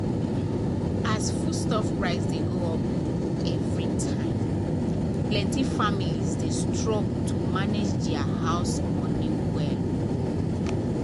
as foodstuff price dey go up every time plenty families dey struggle to manage their house money well.